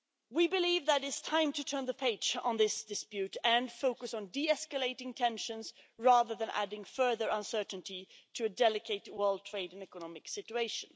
We believe that it's time to turn the page on this dispute and focus on de escalating tensions rather than adding further uncertainty to a delicate world trade and economic situation.